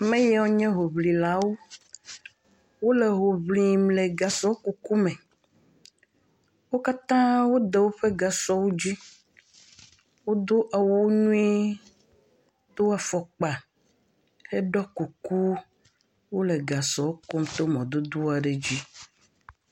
Ameyiwo nye hoŋlilawo, wole hoŋlim le gasɔ kuku me, wo katã wode woƒe gasɔwo dzi, wodo awuwo nyuie wodo afɔkpa heɖɔ kuku le gasɔ kum to mɔ nyuie aɖe dzi.